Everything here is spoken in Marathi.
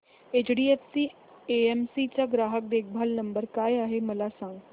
एचडीएफसी एएमसी चा ग्राहक देखभाल नंबर काय आहे मला सांग